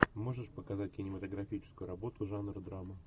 можешь показать кинематографическую работу жанр драма